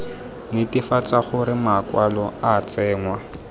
netefatsa gore makwalo a tsenngwa